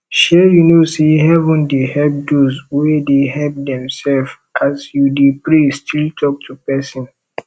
shey you no say heaven dey help doz wey dey help demself as you dey pray still talk to person